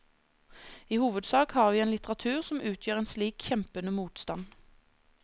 I hovedsak har vi en litteratur som utgjør en slik kjempende motstand.